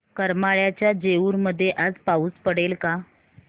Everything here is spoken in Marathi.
करमाळ्याच्या जेऊर मध्ये आज पाऊस पडेल का